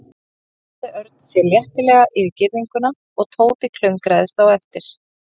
Svo sveiflaði Örn sér léttilega yfir girðinguna og Tóti klöngraðist á eftir.